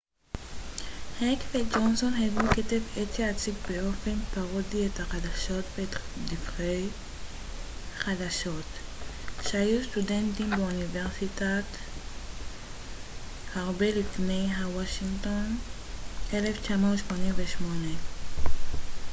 הרבה לפני ה daily show וה colbert report הק וג'ונסון הגו כתב עת שיציג באופן פרודי את החדשות ואת דיווחי החדשות כשהיו סטודנטים באוניברסיטת וושינגטון ב-1988